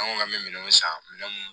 An ko k'an bɛ minɛn san minɛn minnu